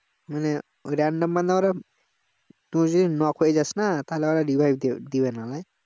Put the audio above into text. মানে ওই random বান্দা ওরা তুই যদি knock হয়ে যাস না তাহলে ওরা revive দিবে দিবেনা ভাই